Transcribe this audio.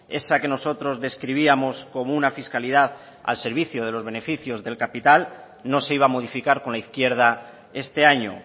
esa que nosotros describíamos como una fiscalidad al servicio de los beneficios del capital no se iba a modificar con la izquierda este año